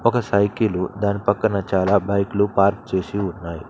ఒక సైకిలు దాని పక్కన చాలా బైకులు పార్క్ చేసి ఉన్నాయ్.